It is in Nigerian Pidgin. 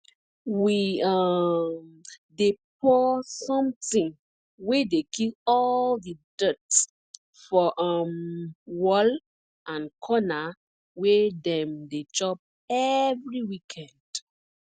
we um dey pour something wey dey kill all the dirt for um wall and corner wey dem dey chop every weekend